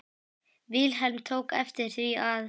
Vilhelm tók eftir því að